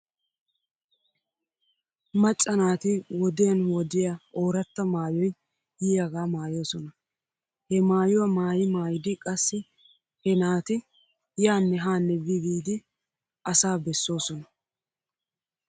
Macca naati wodiyan wodiya ooratta maayoy yiyaagaa maayoosona. He maayuwaa maayi maayidi qassi he naat yaanne haanne bi biidi asaa besoosona.